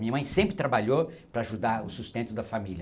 Minha mãe sempre trabalhou para ajudar o sustento da família.